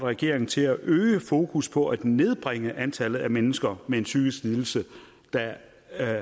regeringen til at øge fokus på at nedbringe antallet af mennesker med en psykisk lidelse der